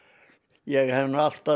ég hef alltaf